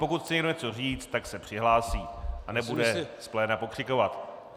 Pokud chce někdo něco říct, tak se přihlásí a nebude z pléna pokřikovat.